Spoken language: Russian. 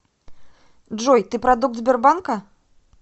джой ты продукт сбербанка